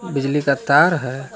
बिजली का तार है।